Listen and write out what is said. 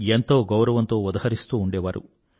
ఎంతో గౌరవంతో ఉదహరిస్తూ ఉండేవారు